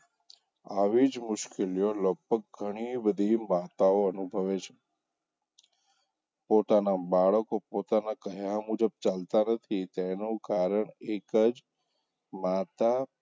આવી જ મુશ્કેલીઓ લગભગ ઘણી બધી માતાઓ અનુભવે છે પોતાનાં બાળકો પોતાનાં કહ્યાં મુજબ ચાલતાં નથી તેનો કારણ એકજ માતા,